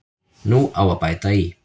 Nú á að bæta í.